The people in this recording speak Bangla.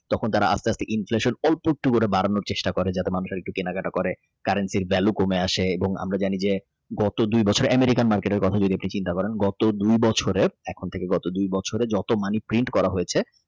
তখন তারা আস্তে আস্তে অল্প একটু বাড়ানোর চেষ্টা করে যাতে মানুষ একটু কেনাকাটা করে currency ভ্যালু কমে আছে এবং আমরা জানি যে গত দুই বছরের Americanmarket কথা আপনি যদি চিন্তা করেন গত দুই বছরে এখন থেকে গত দুই বছরে যত Money print করা হয়েছে.